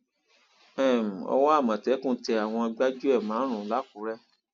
um owó àmọtẹkùn tẹ àwọn gbájúẹ márùnún làkúrẹ